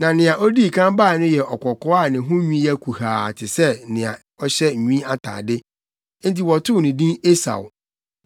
Na nea odii kan bae no yɛ ɔkɔkɔɔ a ne ho nwi yɛ kuhaa te sɛ nea ɔhyɛ nwi atade. Enti wɔtoo no din Esau.